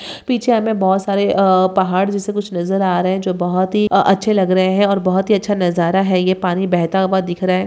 पीछे हमें बहोत सारे आ पहाड़ जैसे कुछ नज़र आ रहे है जो बहोत ही अच्छे लग रहे है और ये बहोत ही अच्छा नज़ारा है ये पानी बहता हुआ दिख रहा है।